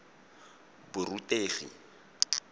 borutegi